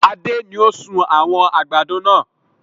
Adé ni ó sun àwọn àgbàdo náà